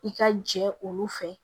I ka jɛ olu fɛ